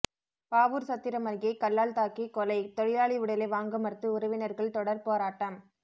பாவூர்சத்திரம் அருகே கல்லால் தாக்கி கொலை தொழிலாளி உடலை வாங்கமறுத்து உறவினர்கள் தொடர் போராட்டம்